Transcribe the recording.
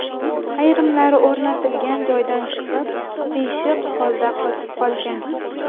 Ayrimlari o‘rnatilgan joydan chiqib, qiyshiq holda qotib qolgan.